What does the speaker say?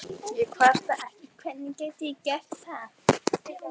En ég kvarta ekki, hvernig gæti ég gert það?